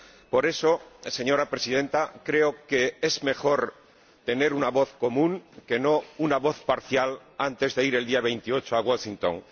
Por eso, señora Presidenta, creo que es mejor tener una voz común, y no una voz parcial, antes de ir el día 28 a Washington.